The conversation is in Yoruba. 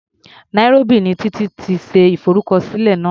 Nairobi ni Títí ti ṣe ìfọrúkọsílẹ̀ náà.